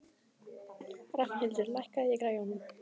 Rafnhildur, lækkaðu í græjunum.